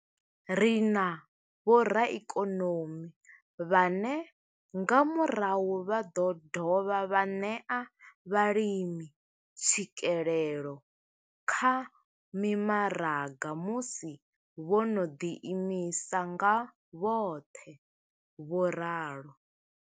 Ri na vhoraikonomi vhane nga murahu vha ḓo dovha vha ṋea vhalimi tswikelelo kha mimaraga musi vho no ḓi imisa nga vhoṱhe. vho ralo.